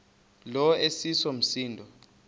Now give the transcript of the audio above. lo iseso msindo